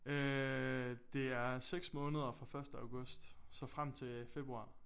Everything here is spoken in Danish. Øh det er 6 måneder fra første august så frem til februar